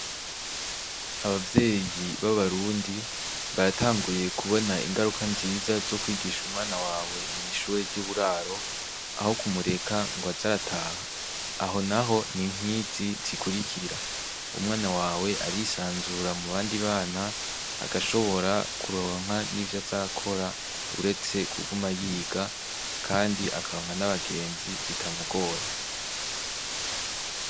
Abavyeyi b'abarundi ,baratanguye kubona ingaruka nziza zo kwigisha umwana wawe mw'ishure ry'uburaro, aho kumureka ngwaz'arataha ,aho naho ni nkizi zikurikira: umwana wawe arisanzura mubandibana, agashobora kuronka nivy'azarakora ureste kuguma yiga, kandi akaronka n'abagenzi bitamugoye.